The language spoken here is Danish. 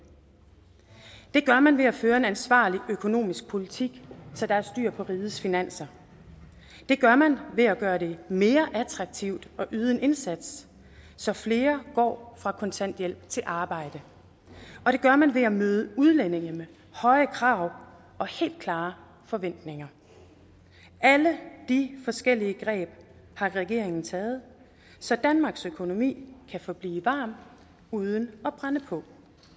gør man ved at føre en ansvarlig økonomisk politik så der er styr på rigets finanser det gør man ved at gøre det mere attraktivt at yde en indsats så flere går fra kontanthjælp til arbejde og det gør man ved at møde udlændinge med høje krav og helt klare forventninger alle de forskellige greb har regeringen taget så danmarks økonomi kan forblive varm uden at brænde på